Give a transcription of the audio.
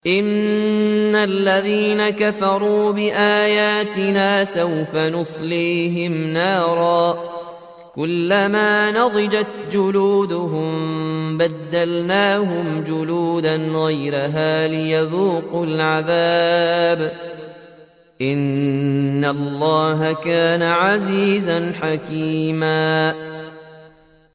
إِنَّ الَّذِينَ كَفَرُوا بِآيَاتِنَا سَوْفَ نُصْلِيهِمْ نَارًا كُلَّمَا نَضِجَتْ جُلُودُهُم بَدَّلْنَاهُمْ جُلُودًا غَيْرَهَا لِيَذُوقُوا الْعَذَابَ ۗ إِنَّ اللَّهَ كَانَ عَزِيزًا حَكِيمًا